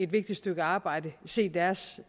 vigtige stykke arbejde se deres